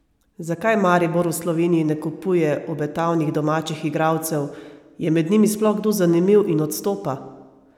Zakaj Maribor v Sloveniji ne kupuje obetavnih domačih igralcev, je med njimi sploh kdo zanimiv in odstopa?